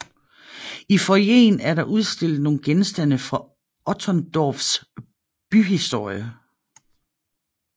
I foyeren er der udstillet nogle genstande fra Otterndorfs byhistorie